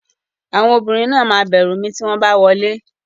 Àwọn obìnrin náà máa bẹ̀rù mi tí wọ́n bá wọlé.